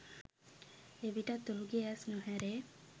එවිටත් ඔහුගේ ඇස් නොඇරේ